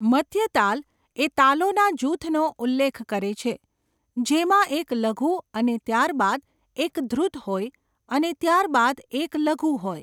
મધ્ય તાલ એ તાલોના જૂથનો ઉલ્લેખ કરે છે જેમાં એક લઘુ અને ત્યારબાદ એક ધૃત હોય અને ત્યાર બાદ એક લઘુ હોય.